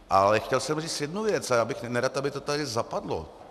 Ale chtěl jsem říct jednu věc a byl bych nerad, aby to tady zapadlo.